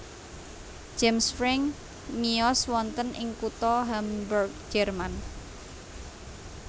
James Franck miyos wonten ing kutha Hamburg Jerman